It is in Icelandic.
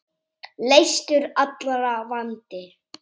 Leystur allra vandi.